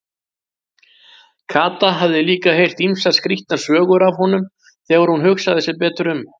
Kata hafði líka heyrt ýmsar skrýtnar sögur af honum þegar hún hugsaði sig betur um.